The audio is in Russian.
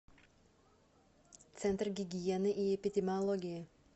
центр гигиены и эпидемиологии